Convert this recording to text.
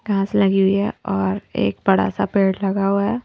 घास लगी हुई है और एक बड़ा सा पेड़ लगा हुआ है।